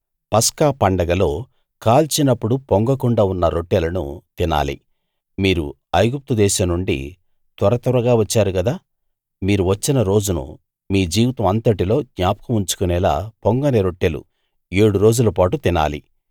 పస్కా పండగలో కాల్చినప్పుడు పొంగకుండా ఉన్న రొట్టెలను తినాలి మీరు ఐగుప్తు దేశం నుండి త్వరత్వరగా వచ్చారు గదా మీరు వచ్చిన రోజును మీ జీవితం అంతటిలో జ్ఞాపకం ఉంచుకునేలా పొంగని రొట్టెలు ఏడు రోజులపాటు తినాలి